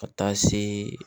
Ka taa se